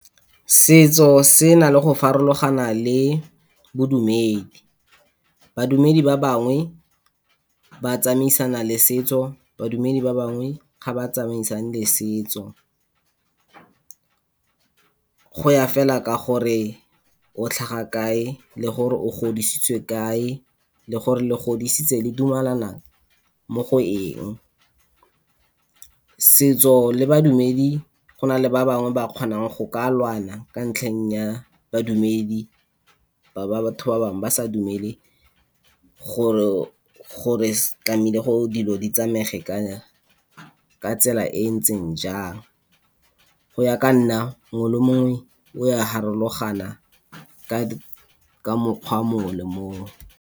Setso se na le go farologana le bodumedi. Badumedi ba bangwe ba tsamaisana le setso, badumedi ba bangwe ga ba tsamaisane le setso. Goya fela ka gore o tlhaga kae le gore o godisitswe kae le gore le godisitswe le dumelana mo go eng. Setso le badumedi go na le ba bangwe ba ba kgonang go ka lwana ka ntlheng ya badumedi ba batho ba bang ba sa dumele gore dilo tlamehile di tsamege ka tsela e ntseng jang. Goya ka nna mongwe le mongwe o ya harorologana ka mokgwa mongwe le mongwe.